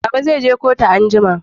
Baba zai je kotu anjima